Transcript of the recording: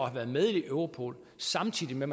at være med i europol samtidig med